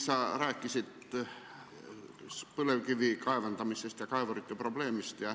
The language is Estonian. Sa rääkisid põlevkivi kaevandamisest ja kaevurite probleemist.